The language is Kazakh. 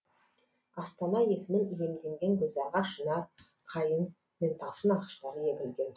астана есімін иемденген гүлзарға шынар қайың мен талшын ағаштары егілген